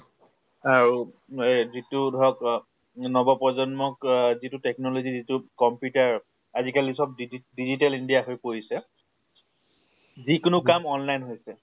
আৰু এহ যিটো ধৰক নৱপ্ৰজন্মক অহ যিটো technology যিটো computer আজি কালি চব দিদি digital india হৈ পৰিছে। যিকোনো কাম online হৈছে।